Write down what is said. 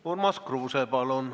Urmas Kruuse, palun!